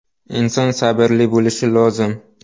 Inson sabrli bo‘lishi lozim!